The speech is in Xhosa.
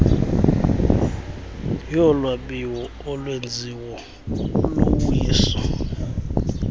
yolwabiwo olwenziwo luwiso